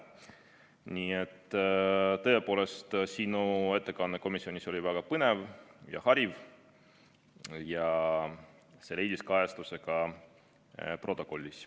Nii et tõepoolest, sinu ettekanne komisjonis oli väga põnev ja hariv ning see leidis kajastuse ka protokollis.